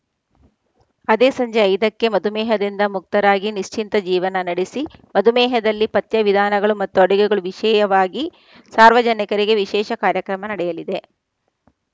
ಅದೇ ಸಂಜೆ ಐದಕ್ಕೆ ಮಧು ಮೇಹದಿಂದ ಮುಕ್ತರಾಗಿ ನಿಶ್ಚಿಂತ ಜೀವನ ನಡೆಸಿ ಮಧು ಮೇಹದಲ್ಲಿ ಪಥ್ಯ ವಿಧಾನಗಳು ಮತ್ತು ಅಡುಗೆಗಳು ವಿಷಯವಾಗಿ ಸಾರ್ವಜನಿಕರಿಗೆ ವಿಶೇಷ ಕಾರ್ಯಕ್ರಮ ನಡೆಯಲಿದೆ